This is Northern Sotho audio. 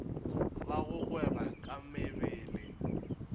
ba go gweba ka mebele